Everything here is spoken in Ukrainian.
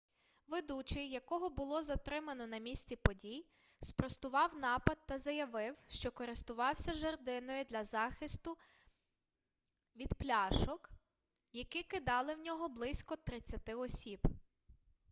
ведучий якого було затримано на місці подій спростував напад та заявив що користувався жердиною для захиститу від пляшок які кидали в нього близько тридцяти осіб